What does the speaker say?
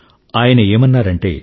ఆయన ఏమన్నారంటే